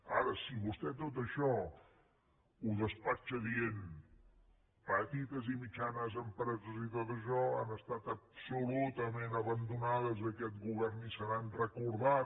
ara si vostè tot això ho despatxa dient petites i mitjanes empreses i tot això han estat absolutament abandonades aquest govern ni se n’ha recordat